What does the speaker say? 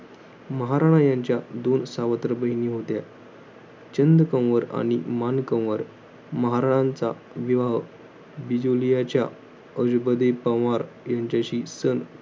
महाराणा यांच्या दोन सावत्र बहिणी होत्या. चंदकौंवर आणि मानकौंवर. महाराजांचा विवाह, बिजोलीयाच्या आजोबदी पोंवर यांच्याशी सन